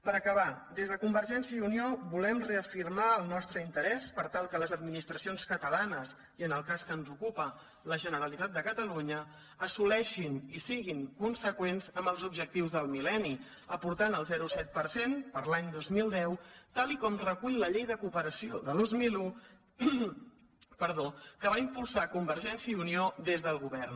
per acabar des de convergència i unió volem reafirmar el nostre interès perquè les administracions catalanes i en el cas que ens ocupa la generalitat de catalunya assoleixin i siguin conseqüents amb els objectius del mil·lenni aportant el zero coma set per cent per a l’any dos mil deu tal i com recull la llei de cooperació de dos mil un que va impulsar convergència i unió des del govern